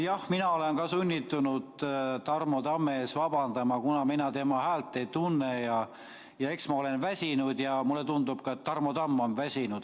Jah, mina olen ka sunnitud Tarmo Tamme ees vabandama, kuna mina tema häält ei tunne ja eks ma olen väsinud ja mulle tundub, et ka Tarmo Tamm on väsinud.